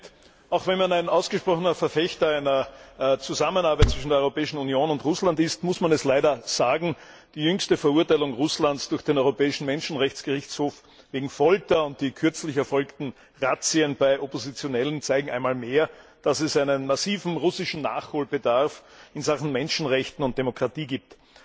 Herr Präsident! Auch wenn man ein ausgesprochener Verfechter einer Zusammenarbeit zwischen der Europäischen Union und Russland ist, muss man es leider sagen Die jüngste Verurteilung Russlands durch den Europäischen Menschenrechtsgerichtshof wegen Folter und die kürzlich erfolgten Razzien bei Oppositionellen zeigen einmal mehr, dass es einen massiven russischen Nachholbedarf in Sachen Menschenrechte und Demokratie gibt.